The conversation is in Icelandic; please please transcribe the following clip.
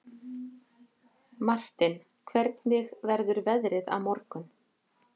Martin, hvernig verður veðrið á morgun?